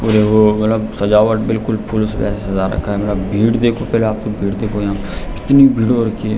और वो मतलब सजावट बिलकुल फूल से सजा रखा है मतलब भीड़ देखो कितनी भीड़ हो रखी है।